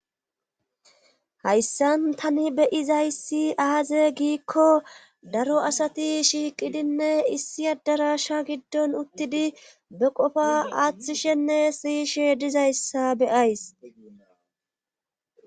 Hayssan tani beyizayssi aaze giikko daro asati shiiqidinne issi addarasha giddon uttidi be qofa aaththishenne siyishe dizayssa beyays